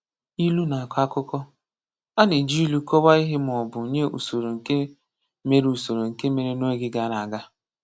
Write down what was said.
Ilu na-akọ akụkọ: A na-eji ilu kọwaa ihe ma ọ bụ nye usoro nke mere usoro nke mere n’oge gara aga.